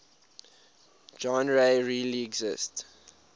genres really exist